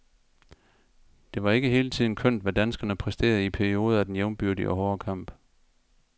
Det var ikke hele tiden kønt, hvad danskerne præsterede i perioder af den jævnbyrdige og hårde kamp.